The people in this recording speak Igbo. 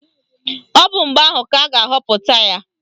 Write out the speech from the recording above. Ọ bụ mgbe ahụ ka a ga-ahọpụta ya.